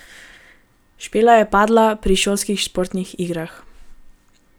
Špela je padla pri šolskih športnih igrah.